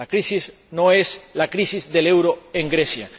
La crisis no es la crisis del euro en Grecia.